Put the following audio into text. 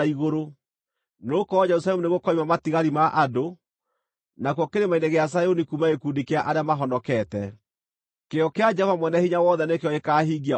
Nĩgũkorwo Jerusalemu nĩgũkoima matigari ma andũ, nakuo Kĩrĩma-inĩ gĩa Zayuni kuume gĩkundi kĩa arĩa mahonokete. Kĩyo kĩa Jehova Mwene-Hinya-Wothe nĩkĩo gĩkaahingia ũguo.